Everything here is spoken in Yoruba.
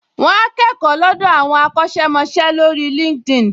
Wà á kẹ́kọ̀ọ́ lọ́dọ̀ àwọn akọ́ṣẹ́mọṣẹ́ lórí LinkedIn